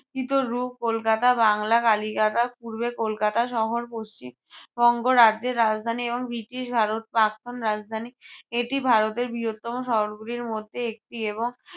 কলকাতা বাংলা কালিকাটা পূর্বে কলকাতা শহর পশ্চিম বঙ্গ রাজ্যের রাজধানী এবং ব্রিটিশ ভারত প্রাক্তন রাজধানী। এটি ভারতের বৃহত্তম শহরগুলির মধ্যে একটি এবং